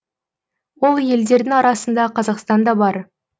ол елдердің арасында қазақстан да бар